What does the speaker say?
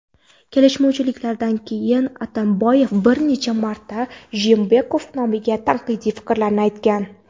Kelishmovchilikdan keyin Atamboyev bir necha marta Jeenbekov nomiga tanqidiy fikrlarni aytgan.